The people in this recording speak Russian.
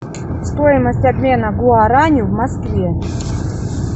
стоимость обмена гуарани в москве